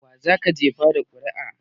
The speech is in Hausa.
Wa zaka jefa wa ƙuri'a?